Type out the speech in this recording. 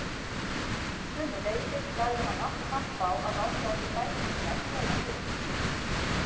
Sömuleiðis lagði hann allt kapp á að láta okkur dæturnar þola gubb.